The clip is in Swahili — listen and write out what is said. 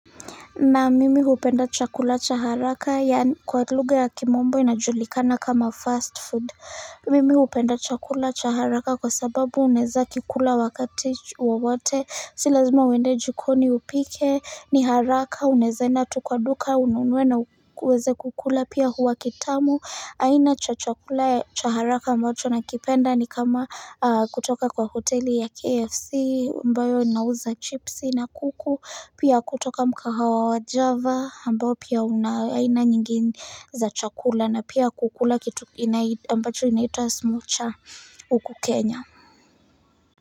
Na mimi hupenda chakula cha haraka yaani kwa lugha ya kimombo inajulikana kama fast food Mimi hupenda chakula cha haraka kwa sababu unaweza kikula wakati wowote. Si lazima uende jikoni upike ni haraka unaeza enda tu kwa duka ununuwe na uweze kukula pia huwa kitamu. Aina cha chakula cha haraka ambacho na kipenda ni kama kutoka kwa hoteli ya KFC ambayo inauza chipsi na kuku pia kutoka mkahawa wa java ambao pia una aina nyingi za chakula na pia kukula kitu ambacho inaita smocha huku kenya.